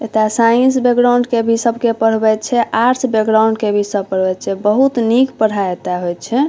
एता science background के भी सबके पढ़वे छै आर्ट्स बैकग्राउंड के भी सब पढ़वे छै बहुत निक पढाई एता होय छै।